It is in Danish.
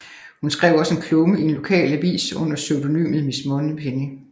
Hun skrev også en klumme i en lokal avis under pseudonymet Miss Moneypenny